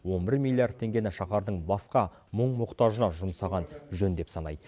он бір миллиард теңгені шаһардың басқа мұң мұқтажына жұмсаған жөн деп санайды